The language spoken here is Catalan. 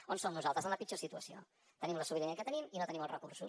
on som nosaltres en la pitjor situació tenim la sobirania que tenim i no tenim els recursos